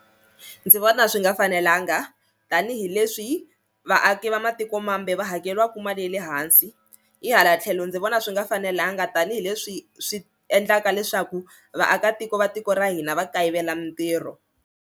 Ndzi vona swi nga fanelanga tanihileswi vaaki va matiko mambe va hakeriwaka mali ya le hansi hi hala tlhelo ndzi vona swi nga fanelanga tanihileswi swi endlaka leswaku vaakatiko va tiko ra hina va kayivela mintirho.